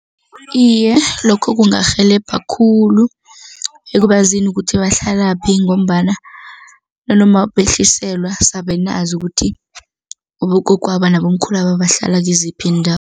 Iye, lokho kungarhelebha khulu ekubazisi ukuthi bahlalaphi ngombana nanoma behliselwa sabe nazi ukuthi abogogwaba nabomkhulwaba bahlala kiziphi